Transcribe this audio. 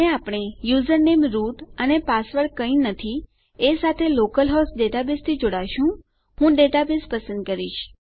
અને આપણે username root અને પાસવર્ડ કંઈજ નહી એ સાથે આપણા લોકલ હોસ્ટ ડેટાબેઝથી જોડાશું હું મારું ડેટાબેઝ પસંદ કરીશ